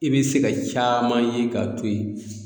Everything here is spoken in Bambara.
I be se ka caman ye k'a to yen